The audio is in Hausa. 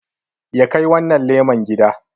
ya Kai wannan leman gida